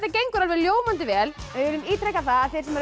gengur alveg ljómandi vel við viljum ítreka það að þeir sem eru að